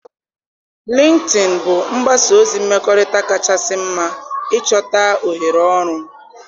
Lịnktịn bụ mgbasa ozi mmekọrịta kachasị mma ịchọta ohere ọrụ.